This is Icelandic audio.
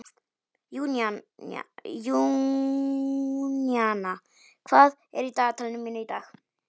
Júníana, hvað er í dagatalinu mínu í dag?